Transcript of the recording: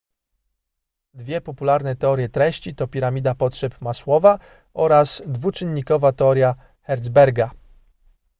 dwie popularne teorie treści to piramida potrzeb masłowa oraz dwuczynnikowa teoria hertzberga